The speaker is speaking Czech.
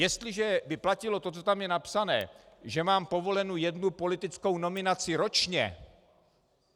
Jestliže by platilo to, co tam je napsané, že mám povolenu jednu politickou nominaci ročně...